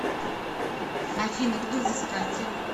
афина кто взыскатель